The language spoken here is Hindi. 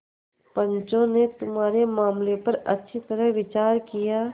पंचों ने तुम्हारे मामले पर अच्छी तरह विचार किया